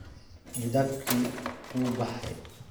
Midabkii wuu baxay.